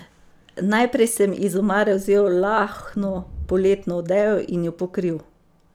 Najprej sem iz omare vzel lahno poletno odejo in jo pokril.